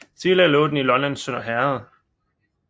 Tidligere lå den i Lollands Sønder Herred